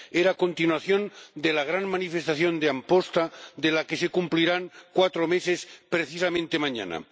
Era continuación de la gran manifestación de Amposta, de la que se cumplirán cuatro meses precisamente mañana.